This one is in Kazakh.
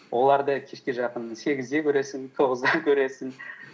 оларды кешке жақын сегізде көресің тоғызда көресің